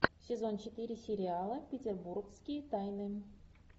сезон четыре сериала петербургские тайны